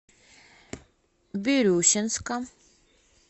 бирюсинска